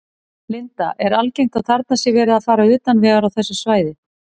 Linda: Er algengt að þarna sé verið að fara utan vegar á þessu svæði?